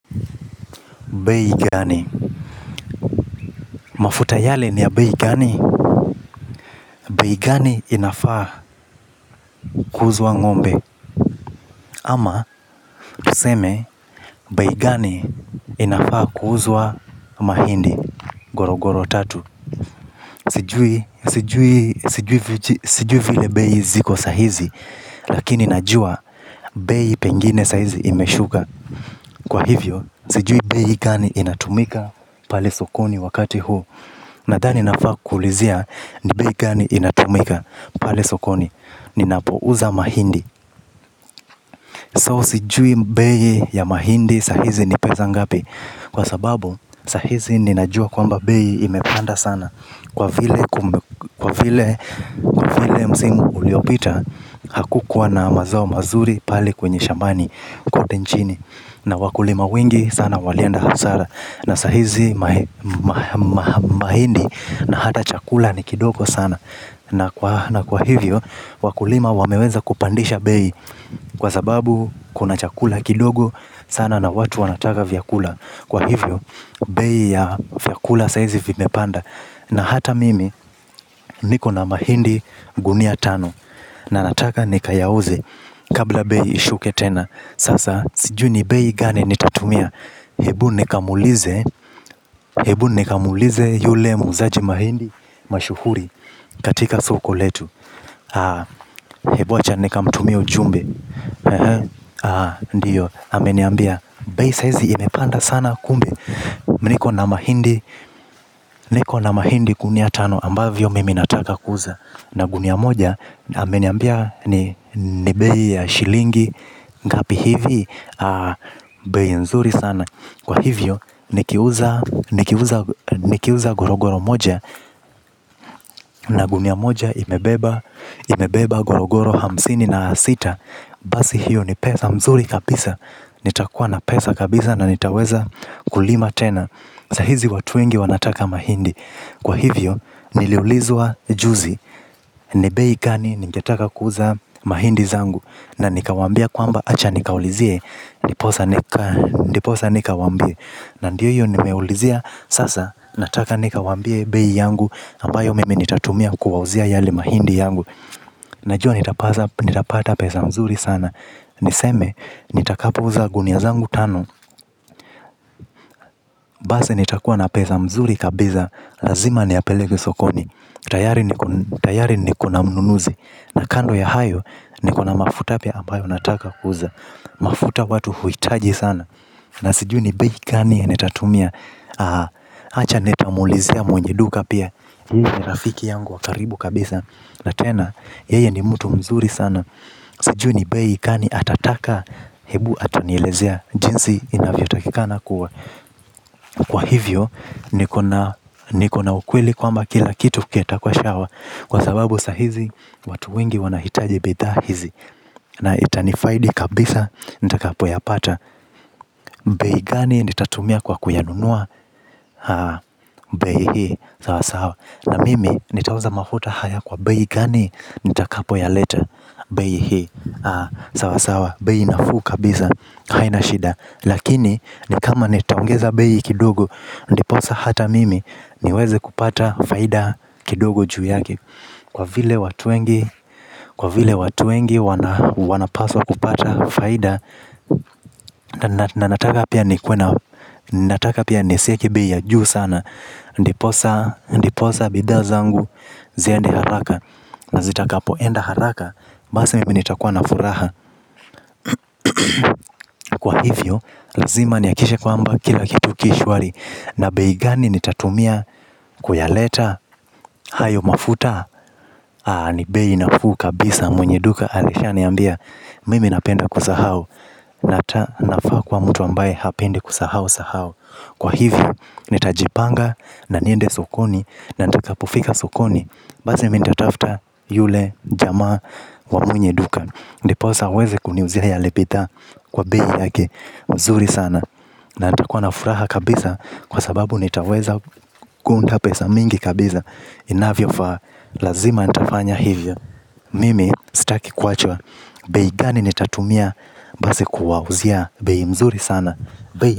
Bei gani. Mafuta yale ni ya bei gani. Bei gani inafaa kuuzwa ng'ombe ama tuseme bei gani inafaa kuuzwa mahindi gorogoro tatu. Sijui. Sijui vile bei ziko sahizi lakini najua. Bei pengine saa hizi imeshuka. Kwa hivyo sijui bei gani inatumika pale sokoni wakati huu. Nadhani nafaa kukuulizia. Ni bei gani inatumika pale sokoni, ninapouza mahindi So sijui bei ya mahindi saa hizi ni pesa ngapi kwa sababu, saa hizi ninajua kwamba bei imepanda sana kwa vile msimu uliopita hakukuwa na mazao mazuri pale kwenye shambani kote nchini na wakulima wengi sana walienda hasara na saa hizi mahindi na hata chakula ni kidogo sana na kwa hivyo wakulima wameweza kupandisha bei kwa sababu kuna chakula kidogo sana na watu wanataka vyakula kwa hivyo bei ya vyakula saa hizi vimepanda na hata mimi niko na mahindi gunia tano na nataka nikayauze kabla bei ishuke tena. Sasa sijui ni bei gani nitatumia hebu nikamwulize yule muuzaji mahindi mashuhuri katika soko letu. Hebu acha nikamtumie ujumbe. Ndiyo. Ameniambia bei sa hizi imepanda sana kumbe niko na mahindi niko na mahindi gunia tano ambavyo mimi nataka kuuza na gunia moja na ameniambia ni ni bei ya shilingi ngapi hivi. Bei nzuri sana kwa hivyo nikiuza gorogoro moja na gunia moja imebeba. Imebeba gorogoro hamsini na sita, basi hiyo ni pesa mzuri kabisa. Nitakuwa na pesa kabisa na nitaweza kulima tena sa hizi watu wengi wanataka mahindi kwa hivyo, niliulizwa juzi ni bei gani, ningetaka kuuza mahindi zangu na nikawaambia kwamba acha nikaulizie. Ndiposa nikawaambie na ndiyo hiyo nimeulizia sasa. Nataka nikawaambie bei yangu ambayo mimi nitatumia kuwauzia yale mahindi yangu. Najua nitapata pesa mzuri sana. Niseme, nitakapouza gunia zangu tano. Base nitakuwa na pesa mzuri kabisa. Lazima niyapeleke sokoni. Tayari nikona mnunuzi na kando ya hayo nikona mafuta pia ambayo nataka kuuza. Mafuta watu huhitaji sana na sijui ni bei kani nitatumia. Acha nitamuulizia mwenye duka pia. Ni rafiki yangu wa karibu kabisa na tena, yeye ni mtu mzuri sana. Sijui ni bei gani atataka. Hebu atanielezea jinsi inavyotakikana kuwa kwa hivyo. Nikona ukweli kwamba kila kitu kitakuwa shawa kwa sababu saa hizi watu wengi wanahitaji bidhaa hizi na itanifaidi kabisa nitakapoyapata bei gani nitatumia kwa kuyanunua bei hii sawasawa na mimi nitauza mafuta haya kwa bei gani nitakapoyaleta. Bei hii. Sawa sawa bei nafuu kabisa haina shida lakini ni kama nitaongeza bei kidogo ndiposa hata mimi niweze kupata faida kidogo juu yake kwa vile watu wengi wapaswa kupata faida na nataka pia nikuwe na nataka pia nisieke bei ya juu sana. Ndiposa ndiposa bidhaa zangu ziende haraka na zitakapoenda haraka. Basi mimi nitakuwa na furaha kwa hivyo, lazima nihakikishe kwamba kila kitu ki shwari na bei gani nitatumia kuyaleta hayo mafuta haa, ni bei nafuu kabisa mwenye duka alishaniambia, mimi napenda kusahau na ta nafaa kuwa mtu ambaye hapendi kusahau sahau kwa hivyo, nitajipanga na niende sokoni na nitakapofika sokoni. Basi mimi nitatafta yule jamaa wa mwenye duka ndiposa aweze kuniuzia yale bidhaa kwa bei yake mzuri sana na ntakuwa na furaha kabisa kwa sababu nitaweza kuunda pesa mingi kabisa. Inavyofaa, lazima nitafanya hivyo. Mimi, staki kuachwa, bei gani nitatumia basi kuwauzia bei mzuri sana.